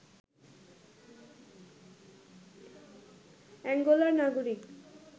অ্যাঙ্গোলার নাগরিক